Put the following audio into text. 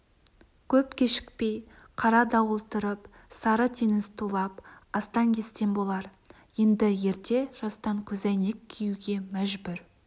көп кешікпей қара дауыл тұрып сары теңіз тулап астан-кестен болар енді ерте жастан көзәйнек киюге мәжбүр